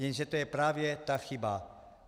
Jenže to je právě ta chyba.